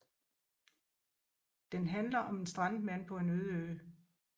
Den handler om en strandet mand på en ø